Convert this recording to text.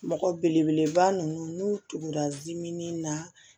Mɔgɔ belebeleba ninnu n'u tun ka dimin na